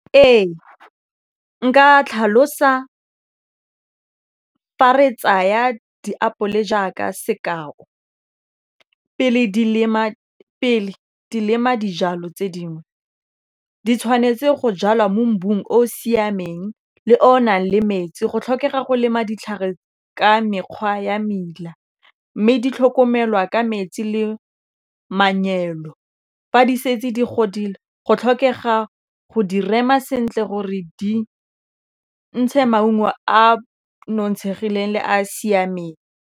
Ee nka tlhalosa fa re tsaya diapole jaaka sekao pele di lema dijalo tse dingwe di tshwanetse go jalwa mo o o siameng le o nang le metsi go tlhokega go lema ditlhare ka mekgwa ya meila mme di tlhokomelwa ka metsi le fa di setse di godile go tlhokega go di rema sentle gore di ntshe maungo a nontshegileng le a siameng.